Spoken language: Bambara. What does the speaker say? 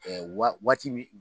Ɛɛ waati min